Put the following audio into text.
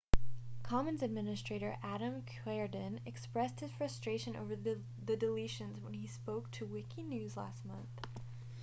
commons administrator adam cuerden expressed his frustration over the deletions when he spoke to wikinews last month